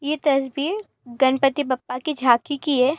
यह तस्वीर गणपति बप्पा की झांकी की है।